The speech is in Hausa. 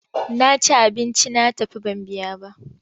Na ci abinci na tafi ban biya ba.